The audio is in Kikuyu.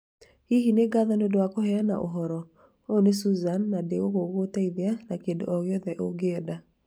Hihi! Nĩ ngatho nĩ ũndũ wa kũheana ũhoro. Ũyũ nĩ Suzane na ndĩ gũkũ gũgũteithia na kĩndũ o gĩothe ũngĩenda.